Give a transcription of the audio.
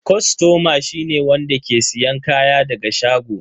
Kostoma shi ne wanda ke siyan kaya daga shago.